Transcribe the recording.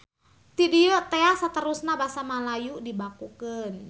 Ti dieu tea saterusna Basa Malayu dibakukeun.